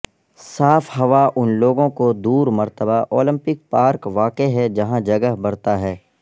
صاف ہوا ان لوگوں کو دور مرتبہ اولمپک پارک واقع ہے جہاں جگہ برتا ہے